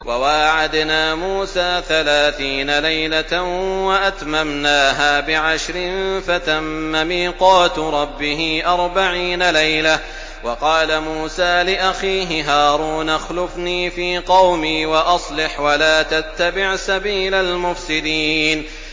۞ وَوَاعَدْنَا مُوسَىٰ ثَلَاثِينَ لَيْلَةً وَأَتْمَمْنَاهَا بِعَشْرٍ فَتَمَّ مِيقَاتُ رَبِّهِ أَرْبَعِينَ لَيْلَةً ۚ وَقَالَ مُوسَىٰ لِأَخِيهِ هَارُونَ اخْلُفْنِي فِي قَوْمِي وَأَصْلِحْ وَلَا تَتَّبِعْ سَبِيلَ الْمُفْسِدِينَ